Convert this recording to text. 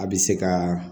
A bɛ se ka